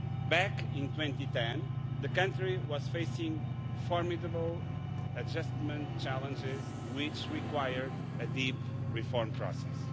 Back in 2010, the country was facing formidable adjustment challenges which required a deep reform process.